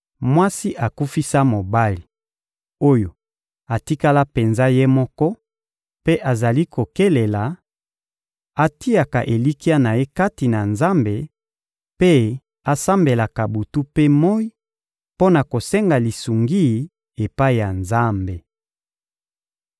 Mwasi akufisa mobali, oyo atikala penza ye moko mpe azali kokelela atiaka elikya na ye kati na Nzambe mpe asambelaka butu mpe moyi mpo na kosenga lisungi epai ya Nzambe.